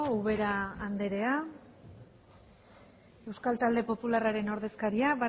ubera andrea euskal talde popularrean ordezkaria